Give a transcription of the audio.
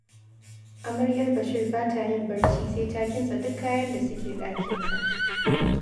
Amaryar Bashir ba ta yin barci sai ta kintsa duk kayan da suke ɗakinsa